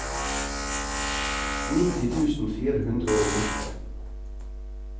nitti tusen fire hundre og åtte